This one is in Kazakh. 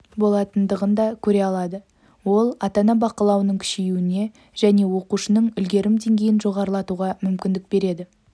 болатындығын да көре алады ол ата-ана бақылауының күшеюіне және оқушының үлгерім деңгейін жоғарылатуға мүмкіндік береді